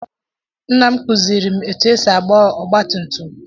Nna m kuziiri m etu esi agba ọgba tum tum.